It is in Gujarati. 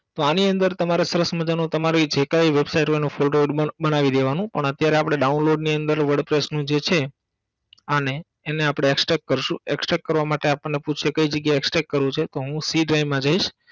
તો આની અંદર તમારે સરસ મજાનો તમારી જે કાઇ website હોય એનો બનાવી દેવાનો પણ અત્યારે આપણ download ની અંદર wordpress નું જે છે આને એને આપણે Extract કરસું Extract કરવા માટે આપણને પૂછશે કઈ જગ્યાએ Extract કરવું છે તો હું c drive માં જઈસ